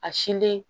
A sin di